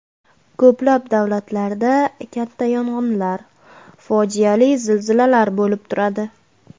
Ko‘plab davlatlarda katta yong‘inlar, fojiali zilzilalar bo‘lib turadi.